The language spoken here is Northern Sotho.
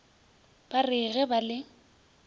ba re ge ba le